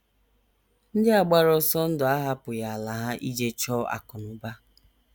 Ndị a gbara ọsọ ndụ ahapụghị ala ha ije chọọ akụ̀ na ụba.